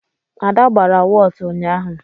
Ada gbara wọtu ụnyaahụ.